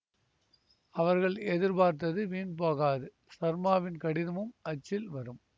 அவர்கள் எதிர்பார்த்தது வீண் போகாது சர்மாவின் கடிதமும் அச்சில் வரும்